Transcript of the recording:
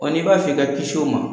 Wa n'i b'a fɛ ka kis'o ma